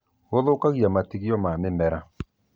Gũthũkagia matigio ma mĩmera